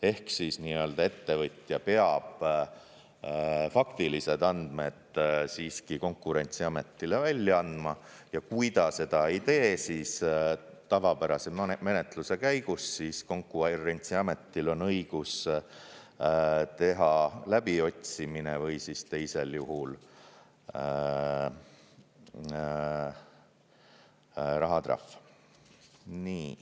Ehk ettevõtja peab faktilised andmed siiski Konkurentsiametile välja andma ja kui ta seda ei tee, siis tavapärase menetluse käigus Konkurentsiametil on õigus teha läbiotsimine või siis teisel juhul rahatrahv.